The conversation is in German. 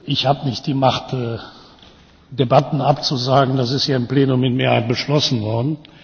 Ich habe nicht die Macht, Debatten abzusagen. Das ist hier im Plenum mit Mehrheit beschlossen worden.